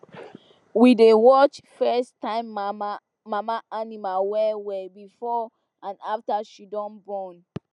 we dey watch firsttime mama animal well well before and after she she born